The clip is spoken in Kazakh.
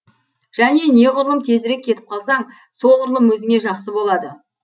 және неғұрлым тезірек кетіп қалсаң соғұрлым өзіңе жақсы болады